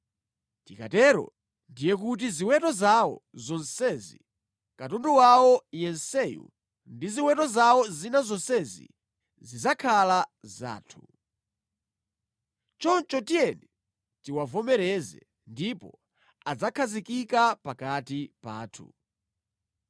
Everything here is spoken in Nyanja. Tikatero, ndiye kuti ziweto zawo zonsezi, katundu wawo yenseyu ndi ziweto zawo zina zonsezi zidzakhala zathu. Choncho tiyeni tiwavomereze ndipo adzakhazikika pakati pathu.”